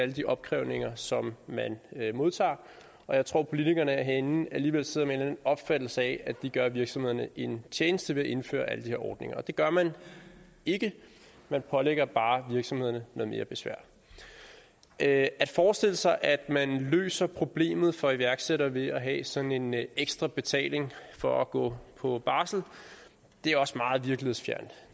de opkrævninger som man modtager og jeg tror politikerne herinde alligevel sidder med en eller anden opfattelse af at de gør virksomhederne en tjeneste ved at indføre alle de her ordninger det gør man ikke man pålægger bare virksomhederne noget mere besvær at forestille sig at man løser problemet for iværksættere ved at have sådan en ekstra betaling for at gå på barsel er også meget virkelighedsfjernt